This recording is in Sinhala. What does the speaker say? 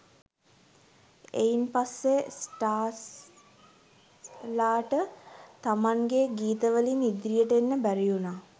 එයින් පස්සේ ස්ටාර්ස් ලාට තමන්ගේ ගීත වලින් ඉදිරියට එන්න බැරිඋනා